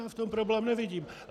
Já v tom problém nevidím.